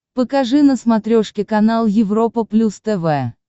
покажи на смотрешке канал европа плюс тв